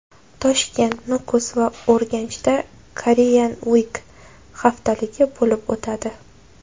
Toshkent, Nukus va Urganchda Korean Week haftaligi bo‘lib o‘tadi.